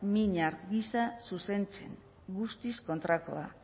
minar gisa zuzentzen guztiz kontrakoa